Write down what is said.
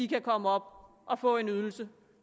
kan komme op og få en ydelse